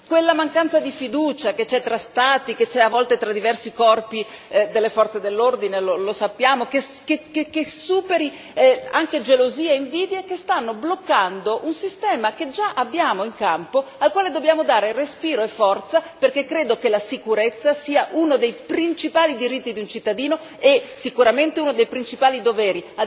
quella mancanza di fiducia che c'è tra Stati e, alle volte, tra diversi corpi delle forze dell'ordine, che superiamo anche quelle gelosie e invidie che stanno bloccando un sistema già in campo, al quale dobbiamo dare respiro e forza perché credo che la sicurezza sia uno dei principali diritti di un cittadino e sicuramente uno dei principali doveri.